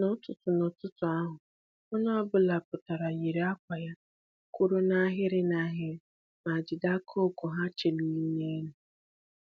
N'ụtụtụ N'ụtụtụ ahụ, onye ọbụla pụtara, yiri akwa ha, kwụrụ n'ahịrị n'ahịrị ma jide aka ọgụ ha cheliri n'elu